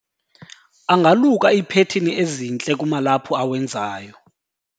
angaluka iiphethini ezintle kumalaphu awenzayo